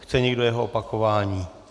Chce někdo jeho opakování?